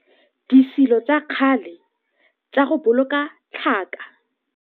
Setshwantsho sa 3 - Disilo tsa kgale tsa go boloka tlhaka.